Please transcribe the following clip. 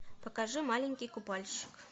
покажи маленький купальщик